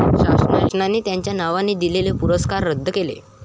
शासनाचे त्यांच्या नावाने दिलेले पुरस्कार रद्द केले.